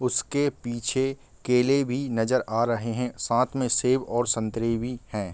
उसके पीछे केले भी नजर आ रहे हैं साथ में सेब और संतरे भी हैं।